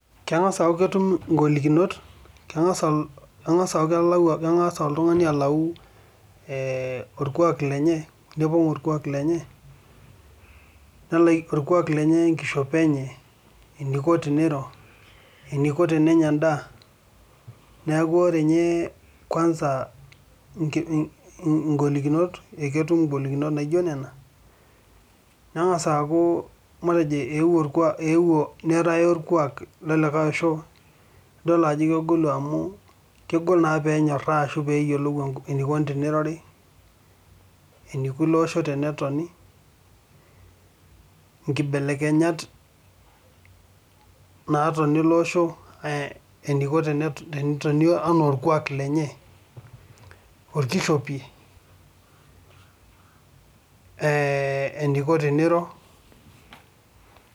Keng'as aaku ketum ingolikinot, keng'as aaku kelau keng'as oltung'ani alau orkuak lenye nepong' orkuak lenye orkuak lenye oo ekishopo enye eneiko teneiro eneiko tenenya endaa neeku oree nye kwansa ingolikinot naa ketum ingolikinot naijo nena neng'aasa aaku matejo eeuo neetae orkuak lolikae oosho nidol ajo kegolu amu kegol naa peenyorra ashuu peeyiolou eneiko tenirori eneiko ilo osho tenetoni nkibelekenyat naatoni iloo osho eneiko teneitonio enaa orkuak lenye orkishopi eneiko teneiro.